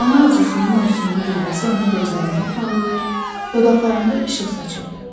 Ana arzusunun ovsunlu qüvvəsi onun gözlərində parlayır, dodaqlarında işıq saçırdı.